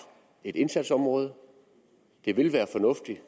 et indsatsområde det ville være fornuftigt at